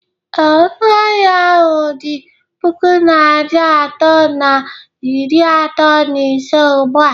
Ee, ọnụ ahịa ahụ dị puku naịra atọ na iri atọ na ise ugbu a